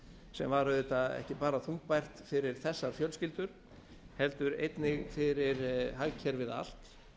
sem var auðvitað ekki bara þungbært fyrir þessar fjölskyldur heldur einnig fyrir hagkerfið allt